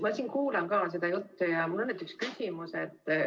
Ma siin kuulan seda juttu ja mul tekkis küsimus.